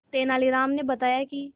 तेनालीराम ने बताया कि